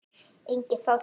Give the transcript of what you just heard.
Engin fátækt.